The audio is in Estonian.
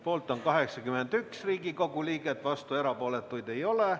Poolt on 81 Riigikogu liiget, vastuolijaid ja erapooletuid ei ole.